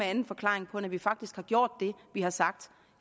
anden forklaring på end at vi faktisk har gjort det vi har sagt